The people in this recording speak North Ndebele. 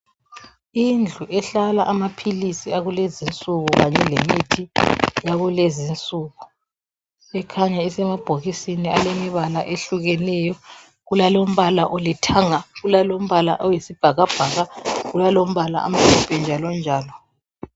Indlu ehlala amaphilisi akulezi insuku. Kanye lemithi yakulezi insuku. lkhanya isemabhokisini alemibala ehlukeneyo. Kulalombala olithanga. Kulalombala oyisibhaiabhaka. Kulalombala oyisibhakabhaka, njalo njalo.